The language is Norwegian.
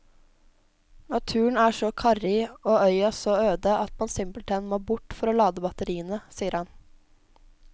Naturen er så karrig og øya så øde at man simpelthen må bort for å lade batteriene, sier han.